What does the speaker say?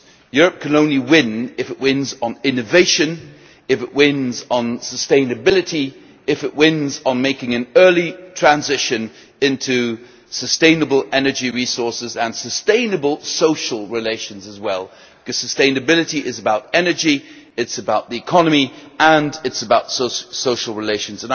Europe can only win if it wins on innovation, if it wins on sustainability, if it wins on making an early transition into sustainable energy resources and sustainable social relations as well, because sustainability is about energy, it is about the economy and it is about social relations.